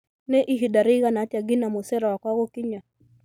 Nĩ ihinda rĩigana atĩa ngina mucere wakwa gũkinya